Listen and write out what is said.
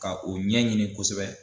Ka u ɲɛɲini kosɛbɛ.